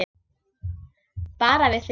Bara við þrír.